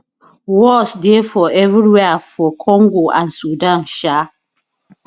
wars dey evriwia for congo and sudan um